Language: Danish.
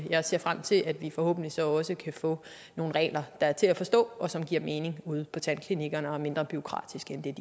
jeg ser frem til at vi forhåbentlig så også kan få nogle regler der er til at forstå og som giver mening ude på tandklinikkerne og er mindre bureaukratiske end det